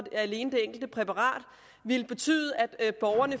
alene til det enkelte præparat ville betyde at borgerne